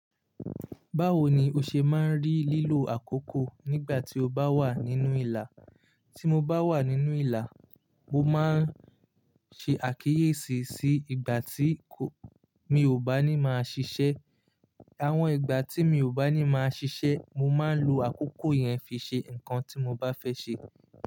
Báwo ni o ṣe máa ń rí lílo àkókò nígbà tí o bá wà nínú ìlà? Ti mo bá wà nínú ìlà, mo máa ń ṣe àkíyèsí sí ìgbà tí mi ò bá ní máa ṣiṣẹ́. Àwọn ìgbà tí mi ò bá ní máa ṣiṣẹ́, mo máa ń lo àkókò yẹn fi ṣe nǹkan tí mo bá fẹ́ ṣe.